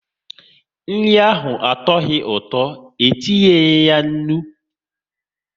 Nri ahụ atuoghi ụtọ, e tinyeyi ya nri